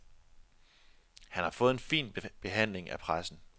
Han har fået en fin behandling af pressen.